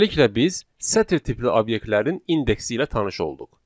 Beləliklə biz sətr tipli obyektlərin indeksi ilə tanış olduq.